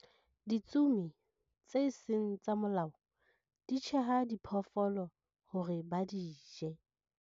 Ditsomi tse seng tsa molao di tjheha diphoofolo hore ba di je.